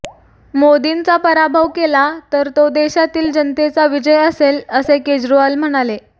मोदींचा पराभव केला तर तो देशातील जनतेचा विजय असेल असे केजरीवाल म्हणाले